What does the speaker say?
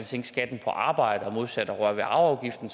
sænke skatten på arbejde modsat arveafgiften